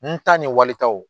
N ta ni walitaw